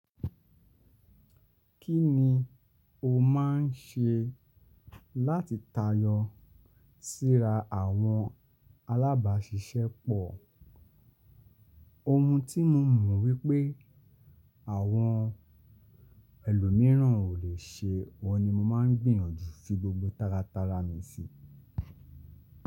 Kí ni o máa ń ṣe láti tayọ síra àwọn alábàáṣiṣẹ́ pọ̀? Ohun tí mo mọ̀ wípé àwọn ẹlòmíràn ò le ṣe wọ́n ni mo máa ń gbìyànjú fi gbogbo tárátara mi sí.